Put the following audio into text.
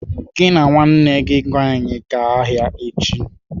"Gị na nwanne gị nwaanyị gaa ahịa echi!